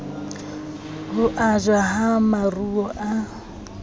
ho ajwa ha maruo a